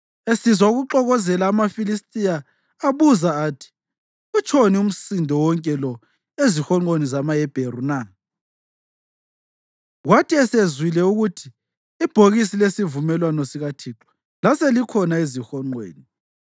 Esizwa ukuxokozela amaFilistiya abuza athi, “Utshoni umsindo wonke lo ezihonqweni zamaHebheru na?” Kwathi esezwile ukuthi ibhokisi lesivumelwano sikaThixo laselikhona ezihonqweni,